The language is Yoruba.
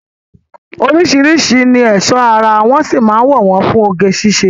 Oríṣiríṣi ni ẹ̀ṣọ́ ara wọ́ sì mán lò wọ́n fún oge síṣe.